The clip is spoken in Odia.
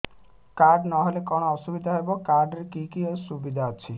କାର୍ଡ ନହେଲେ କଣ ଅସୁବିଧା ହେବ କାର୍ଡ ରେ କି କି ସୁବିଧା ଅଛି